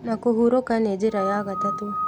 Na kũhurũka nĩ njĩra ya gatatũ